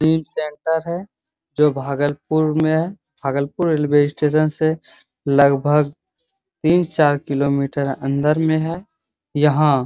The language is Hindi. जिम सेंटर है जो भागलपुर में है | भागलपुर रेलवे स्टेशन से लगभग तीन चार किलोमीटर अंदर में है | यहाँ --